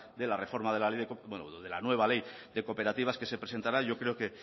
de la nueva ley de cooperativas que se presentará yo creo